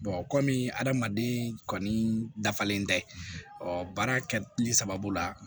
kɔmi hadamaden kɔni dafalen tɛ ɔ baara kɛli sababu la